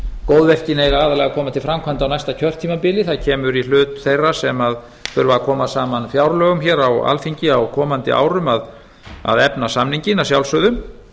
góðverkin eiga aðallega að koma til framkvæmda á næsta kjörtímabili það kemur í hlut þeirra sem þurfa að koma saman fjárlögum hér á alþingi á komandi árum að efna samninginn að sjálfsögðu